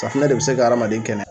Safunɛ de bi se ka adamaden kɛnɛya